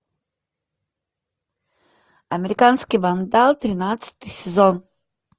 американский вандал тринадцатый сезон